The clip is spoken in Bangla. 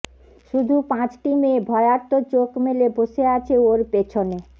শুধু পাঁচটি মেয়ে ভয়ার্ত চোখ মেলে বসে আছে ওর পেছনে